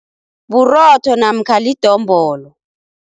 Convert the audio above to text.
Burotho namkha lidombolo.